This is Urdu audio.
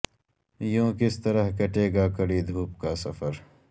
یوں کس طرح کٹے گا کڑی دھوپ کا سفر